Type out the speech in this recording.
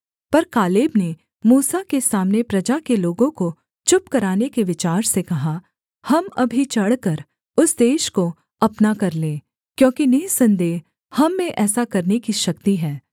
पर कालेब ने मूसा के सामने प्रजा के लोगों को चुप कराने के विचार से कहा हम अभी चढ़कर उस देश को अपना कर लें क्योंकि निःसन्देह हम में ऐसा करने की शक्ति है